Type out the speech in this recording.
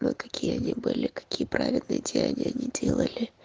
ну какие они были и какие правильные деяния они делали